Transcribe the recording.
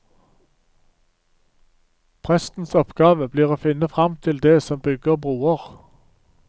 Prestens oppgave blir å finne frem til det som bygger broer.